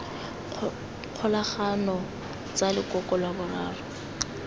kgolagano tsa lekoko la boraro